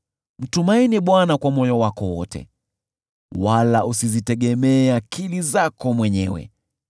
Mtumaini Bwana kwa moyo wako wote wala usizitegemee akili zako mwenyewe;